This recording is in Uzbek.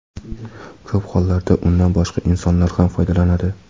Ko‘p hollarda undan boshqa insonlar ham foydalanadi.